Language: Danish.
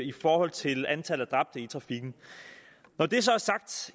i forhold til antallet af dræbte i trafikken når det så er sagt